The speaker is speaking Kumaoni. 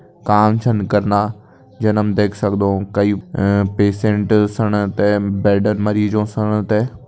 काम छन कना जन हम देख सक्दों कई अ-पेशेंट सण ते बेड मरीजों सण ते।